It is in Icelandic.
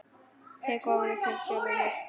Tek ofan fyrir sjálfri mér.